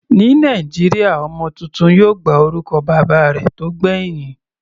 Ní Nàìjíríà ọmọ tuntun yóò gba orúkọ bàbá rẹ̀ tó gbẹ̀hìn.